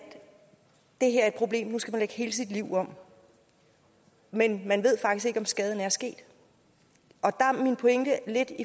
det her er et problem og nu skal lægge hele sit liv om men man ved faktisk ikke om skaden er sket der er min pointe lidt